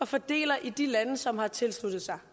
fordeling i de lande som har tilsluttet sig